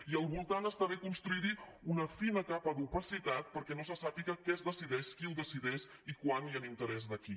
i al voltant està bé construir hi una fina capa d’opacitat perquè no se sàpiga què es decideix qui ho decideix i quan i en interès de qui